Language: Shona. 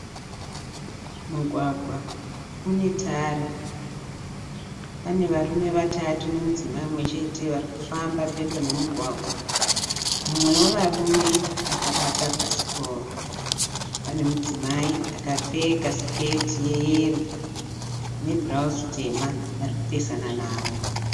Mugwagwa une tara. Pane varume vatatu nemudzimai mumwe chete varikufamba pedo nemumugwagwa. Mumwe wevarume akabata bhasikoro ane mudzimai akapfeka siketi yeyero nebhurauzi tema ari kupesana navo.